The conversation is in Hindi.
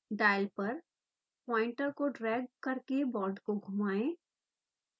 डायल पर पॉइंटर को ड्रैग करके बांड को घुमाएं